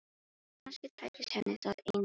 Kannski tækist henni það einn daginn.